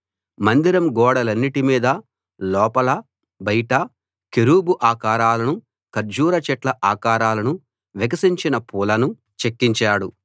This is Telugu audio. మందిరం గోడలన్నిటి మీదా లోపలా బయటా కెరూబు ఆకారాలను ఖర్జూర చెట్ల ఆకారాలను వికసించిన పూలను చెక్కించాడు